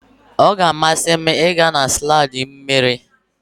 Ọ ga-amasị m ịga na slaidi mmiri.